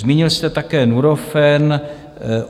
Zmínil jste také Nurofen.